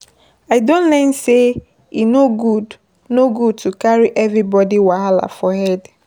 I don learn sey e no good no good to carry everybodi wahala for head.